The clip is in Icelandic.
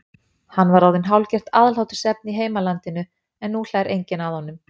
Hann var orðinn hálfgert aðhlátursefni í heimalandinu en nú hlær enginn að honum.